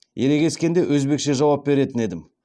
ерегескенде өзбекше жауап беретін едім